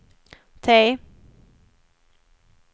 T